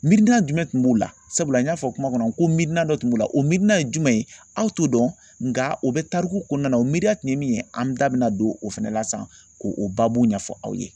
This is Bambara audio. Miirina jumɛn tun b'u la sabula n y'a fɔ kuma kɔnɔ ko miirina dɔ kun b'u la o miirina ye jumɛn ye aw t'o dɔn nka o bɛ tariku kɔnɔna na o miiriya tun ye min ye an da bɛna don o fana na sisan ko o baabu ɲɛfɔ aw ye.